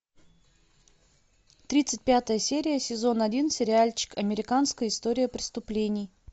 тридцать пятая серия сезон один сериальчик американская история преступлений